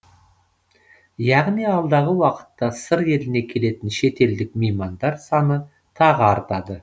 яғни алдағы уақытта сыр еліне келетін шетелдік меймандар саны тағы артады